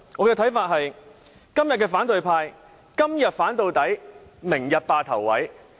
我覺得今天反對派是"今天反到底，明天霸頭位"。